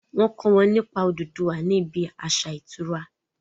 wón kọ wón nípa ododuwa ní ibí aṣa ìtura